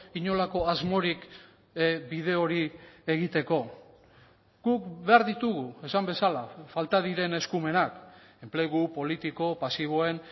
inolako asmorik bide hori egiteko guk behar ditugu esan bezala falta diren eskumenak enplegu politiko pasiboen